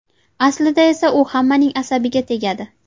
Aslida esa u hammaning asabiga tegadi.